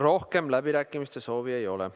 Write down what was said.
Rohkem läbirääkimiste soovi ei ole.